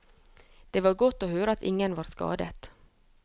Det var godt å høre at ingen var skadet.